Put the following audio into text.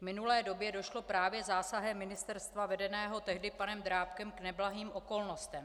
V minulé době došlo právě zásahem ministerstva vedeného tehdy panem Drábkem k neblahým okolnostem.